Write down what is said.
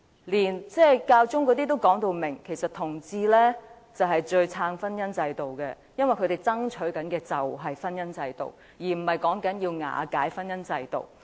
連教宗也說其實同志是最支持婚姻制度的，因為他們正在爭取的便是婚姻制度，而不是瓦解婚姻制度。